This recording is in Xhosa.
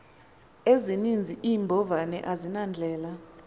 ezininzi iimbovane azinandlela